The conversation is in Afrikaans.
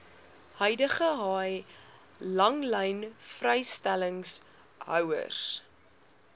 huidige haai langlynvrystellingshouers